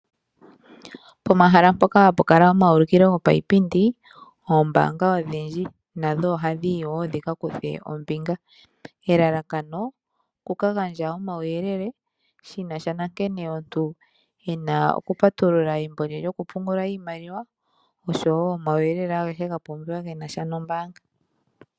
Pomahala mpoka hapu kala omawulukilo gopaipindi, oombaanga odhindji nadho ohadhi yi dhikakuthe ombinga. Elalakano okuka gandja omauyelele shinasha nankene omuntu ena okupatulula embo lye lyokupungula iimaliwa, oshwo omauyelele agehe ga pumbiwa genasha nombaanga.